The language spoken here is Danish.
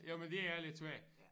Jo men det er lidt svært